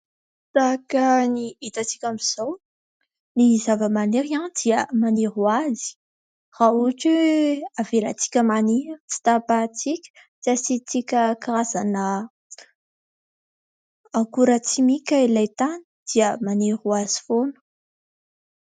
Tahaka ny hitatsika amin'izao, ny zava-maniry dia maniry ho azy raha ohatra hoe avelantsika maniry, tsy tapahintsika, tsy asiantsika karazana akoran-tsimika ilay tany dia maniry ho azy foana.